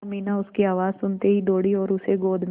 अमीना उसकी आवाज़ सुनते ही दौड़ी और उसे गोद में